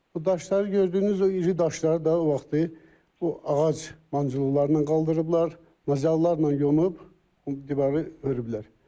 Bu daşları gördüyünüz o iri daşları da o vaxtı bu ağac mancıqlarla qaldırıblar, nojalularla yonub divarı hörüblər.